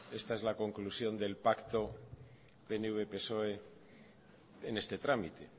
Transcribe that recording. esta es la conclusión del pacto pnv psoe en este trámite